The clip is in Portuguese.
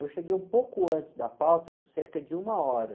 Eu cheguei um pouco antes da pauta, cerca de uma hora.